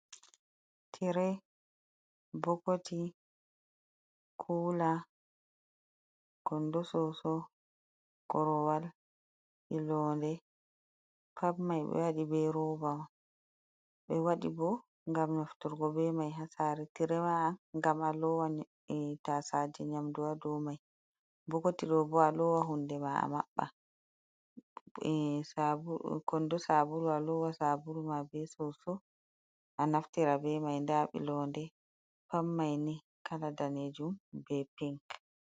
Tiire, bokoti, kuula, kondo soso, korowal, be londe pat mai be waɗi be roba on, be wadi bo gam be mai ha. saare, tiire wa gam a lowa tasaje nyamdu ha dou mai bokoti d ɗo bo a lowa hunde ma a mabba, kondo sabulu a lowa sabulu ma be soso a naftira be mai, nda ɓilode pat mai ni kala danejuum be pink.